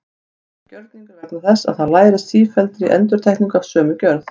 Það er gjörningur vegna þess að það lærist af sífelldri endurtekningu af sömu gjörð.